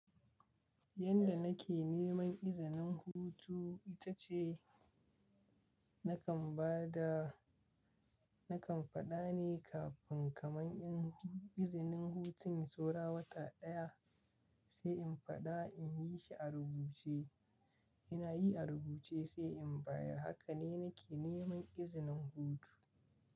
Yanda nake neman izinin hutu ita ce, na kan ba da na kan faɗa ne kafin kaman in izinin hutun saura wata ɗaya sai in faɗa in yi shi a rubuce. Ina yi a rubuce sai in bayar. Haka ne nake neman izinin hutu.